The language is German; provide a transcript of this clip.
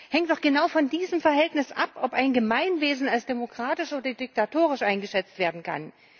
Hängt doch genau von diesem Verhältnis ab, ob ein Gemeinwesen als demokratisch oder diktatorisch eingeschätzt werden kann.